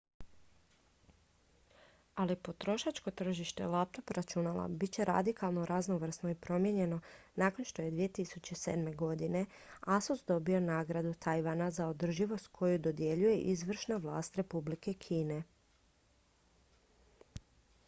ali potrošačko tržište laptop računala bit će radikalno raznovrsno i promijenjeno nakon što je 2007. godine asus dobio nagradu tajvana za održivost koju dodjeljuje izvršna vlast republike kine